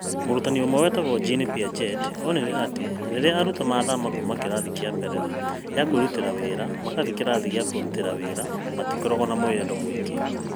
Mũtaarani ũmwe wĩtagwo Jean Piaget onire atĩ rĩrĩa arutwo maathama kuuma kĩrathi kĩa mbere ya kũirutĩra wĩra magathiĩ kĩrathi gĩa kũirutĩra wĩra, matikoragwo na mwĩyendo mũingĩ.